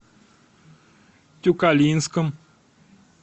тюкалинском